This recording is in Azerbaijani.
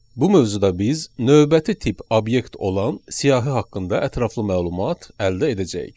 Bu mövzuda biz növbəti tip obyekt olan siyahı haqqında ətraflı məlumat əldə edəcəyik.